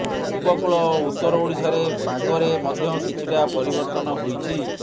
ଉପକୂଳ ଓ ଉତ୍ତର ଓଡ଼ିଶାରେ ପାଗରେ ମଧ୍ୟ କିଛିଟା ପରିବର୍ତନ ହୋଇଛି